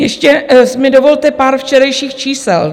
Ještě mi dovolte pár včerejších čísel.